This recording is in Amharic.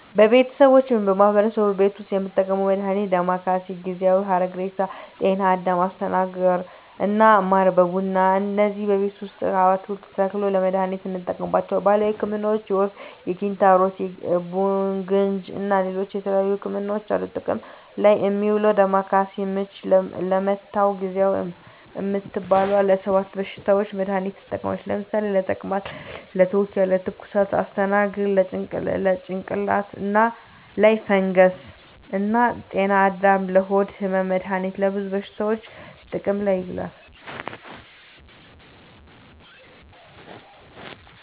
በቤተሰቦቼ ወይም በማህበረሰቡ ቤት ዉስጥ የምንጠቀመዉ መድሃኒት ዳማከሴ፣ ጊዜዋ፣ ሀረግሬሳ፣ ጤናአዳም፣ አስተናግር እና ማር በቡና እነዚህን ቤታችን ዉስጥ አትክልቱን ተክለን ለመድሃኒትነት እንጠቀማቸዋለን። ባህላዊ ህክምናዎች የወፍ፣ ኪንታሮት፣ ቡግንጂ እና ሌላ የተለያዩ ህክምናዎች አሉ። ጥቅም ላይ እሚዉለዉ ዳማከሴ፦ ምች ለመታዉ፣ ጊዜዋ እምትባለዋ ለ 7 በሽታዎች መድሃኒትነት ትጠቅማለች ለምሳሌ፦ ለተቅማጥ፣ ለትዉኪያ፣ ለትኩሳት... ፣ አስተናግር፦ ለጭንቅላት ላይ ፈንገስ እና ጤናአዳም፦ ለሆድ ህመም... መድሃኒቱ ለብዙ በሽታዎች ጥቅም ላይ ይዉላሉ።